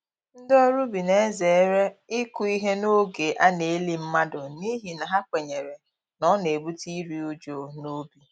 Ndị ọrụ ubi na-ezere ịkụ ihe n’oge a na-eli mmadụ, n’ihi na ha kwenyere na ọ na-ebute iri uju n'ubi.